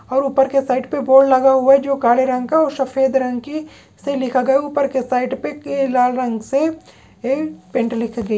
और ऊपर के साइड पर बोर्ड लगा हुआ है जो काले रंग का और सफेद रंग की से लिखा गया है ऊपर के साइड पे के लाल रंग से एक पेंट लिखा गई --